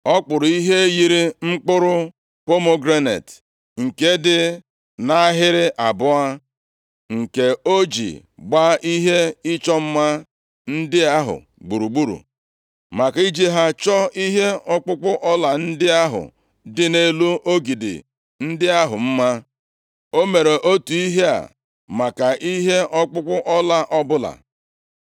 Ọ kpụrụ ihe yiri mkpụrụ pomegranet, nke dị nʼahịrị abụọ, nke o ji gbaa ihe ịchọ mma ndị ahụ gburugburu, maka iji ha chọọ ihe ọkpụkpụ ọla ndị ahụ dị nʼelu ogidi ndị ahụ mma. O mere otu ihe a maka ihe ọkpụkpụ ọla ọbụla.